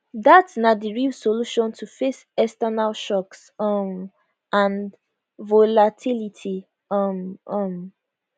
dat na di real solution to face external shocks um and volatility um um